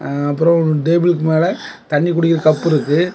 ஆ அப்புறம் ஒரு டேபிளுக்கு மேல தண்ணி குடிக்கிற கப்பு இருக்கு.